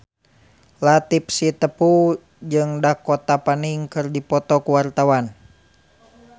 Latief Sitepu jeung Dakota Fanning keur dipoto ku wartawan